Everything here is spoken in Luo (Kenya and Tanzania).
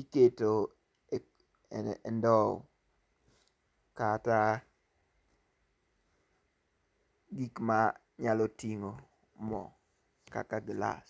iketo e e ndowo kata gik ma nyalo tingo moo kaka glass.